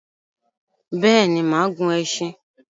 Béèni, máà gun esin